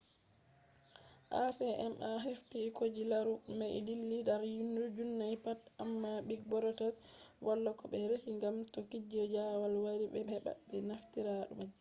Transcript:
acma haifti koje larugo mai dilli dar duniya pat, amma big brother wala ko be resi gam to kuje jawal wari be heba be naftira majum